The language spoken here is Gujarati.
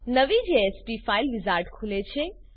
નવી જેએસપી ફાઈલ વિઝાર્ડ ખુલે છે